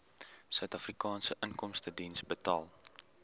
suidafrikaanse inkomstediens betaal